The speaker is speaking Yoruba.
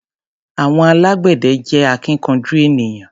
Àwọn alágbẹ̀dẹ jẹ́ alákíkanjú ènìyàn.